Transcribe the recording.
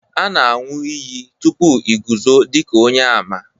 a na-anu iyi.... tupu i guzo dika onye-àmà